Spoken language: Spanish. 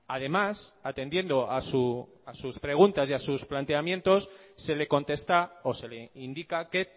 además atendiendo a sus preguntas y a sus planteamientos se le contesta o se le indica que